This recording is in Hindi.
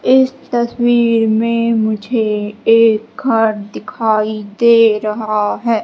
इस तस्वीर में मुझे एक घर दिखाई दे रहा है।